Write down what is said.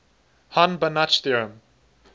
hahn banach theorem